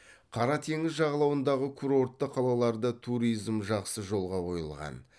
қара теңіз жағалауындағы курортты қалаларда туризм жақсы жолға қойылған